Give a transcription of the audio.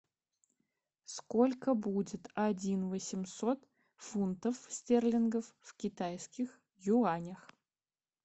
сколько будет один восемьсот фунтов стерлингов в китайских юанях